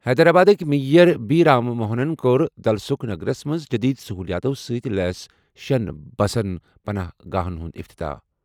حیدرآبادٕکۍ mayor B Ram موہنَن کوٚر دلسُکھ نگرَس منٛز جدید سہولیاتَو سۭتۍ لیس شیٚن بس پناہ گاہَن ہُنٛد افتتاح۔